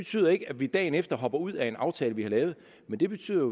betyder ikke at vi dagen efter hopper ud af en aftale vi har lavet men det betyder